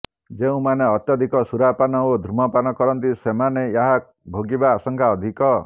ଯେଉଁମାନେ ଅତ୍ୟଧିକ ସୁରାପାନ ଓ ଧୂମପାନ କରନ୍ତି ସେମାନେ ଏହା ଭୋଗିବା ଆଶଙ୍କା ଅଧିକ